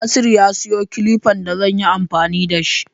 Nasiru ya sayo kilifan da zan yi amfani da shi.